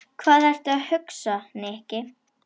Hvað ertu að hugsa, Nikki?